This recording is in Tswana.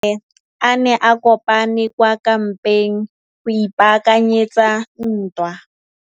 Masole a ne a kopane kwa kampeng go ipaakanyetsa ntwa.